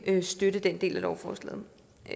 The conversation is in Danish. støtte den del af lovforslaget